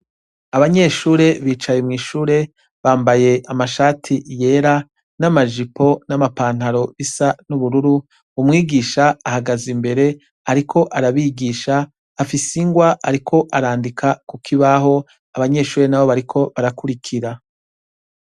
Abanyeshure bicaye mw' ishure, bampay' amashati yera n' amajipo n' amapantaro bis' ubururu, umwigish' ahagaze imber' arik' arabigish' afis' ingw' arik' arandika ku kibaho, abanyeshure nabo bariko barakurukira.